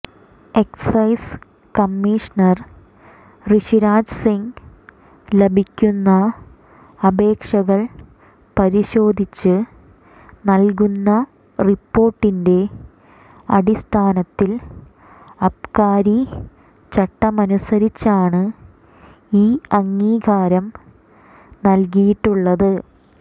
excise commissioner Rishiraj Singh ലഭിക്കുന്ന അപേക്ഷകൾ പരിശോധിച്ച് നൽകുന്ന റിപ്പോർട്ടിന്റെ അടിസ്ഥാനത്തിൽ അബ്കാരി ചട്ടമനുസരിച്ചാണ് ഈ അംഗീകാരം നൽകിയിട്ടുള്ളത്